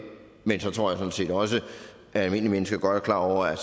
men så tror jeg sådan set også at almindelige mennesker godt er klar over at